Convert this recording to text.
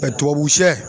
tubabu sɛ